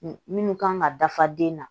Minnu kan ka dafa den na